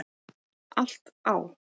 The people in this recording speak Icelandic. Allt á